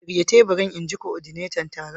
Shirya teburin! In ji kodinetan taron.